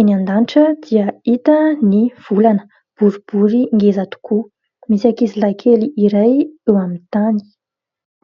eny an-danitra dia hita ny volana, boribory ngeza tokoa. Misy ankizilahy kely iray eo amin'ny tany.